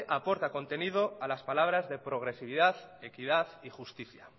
aporta contenido a las palabras de progresividad equidad y justicia